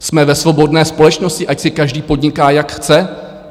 Jsme ve svobodné společnosti, ať si každý podniká, jak chce.